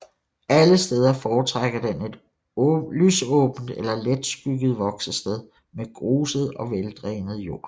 Alle steder foretrækker den et lysåbent eller letskygget voksested med gruset og veldrænet jord